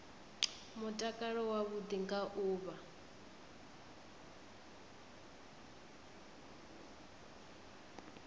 mutakalo wavhuḓi nga u vha